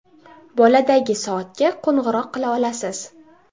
Boladagi soatga qo‘ng‘iroq qila olasiz.